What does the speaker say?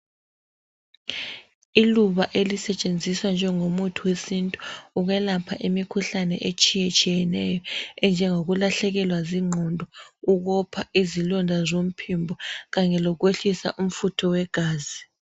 Iluba elisetshenziswa njengo muthi wesintu ukwelapha imikhuhlane etshiye tshiyeneyo enjengoku kulahlekelwa zingqondo ukopha izilonda zomphimbo kanye okwehlisa umfutho wegazi.